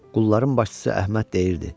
Qulların başçısı Əhməd deyirdi: